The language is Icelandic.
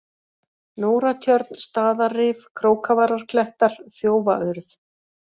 Nóratjörn, Staðarrif, Krókavararklettar, Þjófaurð